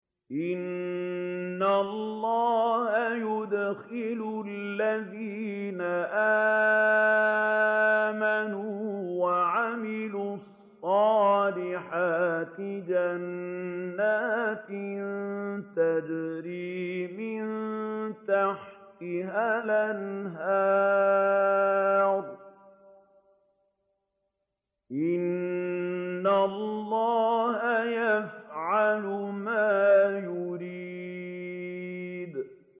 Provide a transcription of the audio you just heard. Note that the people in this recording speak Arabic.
إِنَّ اللَّهَ يُدْخِلُ الَّذِينَ آمَنُوا وَعَمِلُوا الصَّالِحَاتِ جَنَّاتٍ تَجْرِي مِن تَحْتِهَا الْأَنْهَارُ ۚ إِنَّ اللَّهَ يَفْعَلُ مَا يُرِيدُ